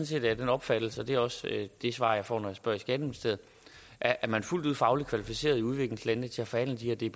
set af den opfattelse og det er også det svar jeg får når jeg spørger i skatteministeriet at man er fuldt ud fagligt kvalificeret i udviklingslandene til at forhandle de